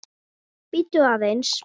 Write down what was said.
Bíddu aðeins.